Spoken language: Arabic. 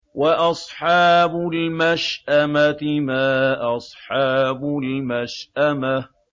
وَأَصْحَابُ الْمَشْأَمَةِ مَا أَصْحَابُ الْمَشْأَمَةِ